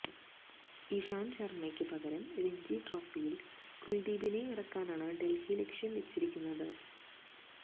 ഇഷാന്ത് ശര്മയ്ക്ക് പകരം രഞ്ജി ട്രോഫിയില് കുല്ദീപിനെ ഇറക്കാനാണ് ഡല്ഹി ലക്ഷ്യം വെച്ചിരുന്നത്